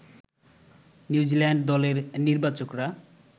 New Zealand দলের নির্বাচকরা